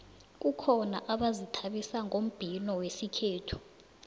kukhona abazithabisa ngombhino wesikhethu